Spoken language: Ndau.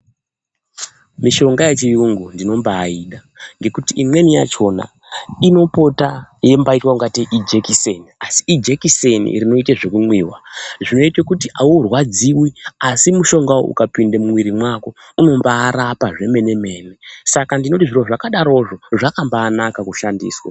Mishonga yechiyungu ndinombaida ngekuti imweni yachona inopota yeimbaitwa kungateii ijikiseni asi ijikiseni rinoite zvekumwiwa. Zvinoite kuti aurwadziwi asi mushonga uyu ukapinde mumwiri mwako unombarapa zvemene-mene, saka ndinoti zviro zvakadarozvo zvakambanaka kushandiswa.